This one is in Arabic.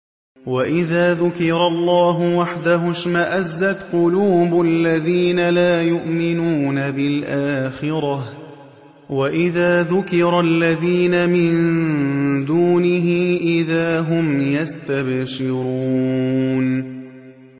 وَإِذَا ذُكِرَ اللَّهُ وَحْدَهُ اشْمَأَزَّتْ قُلُوبُ الَّذِينَ لَا يُؤْمِنُونَ بِالْآخِرَةِ ۖ وَإِذَا ذُكِرَ الَّذِينَ مِن دُونِهِ إِذَا هُمْ يَسْتَبْشِرُونَ